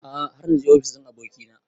A'a har naje ofis ɗin abokina